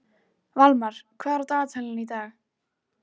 Valmar, hvað er á dagatalinu í dag?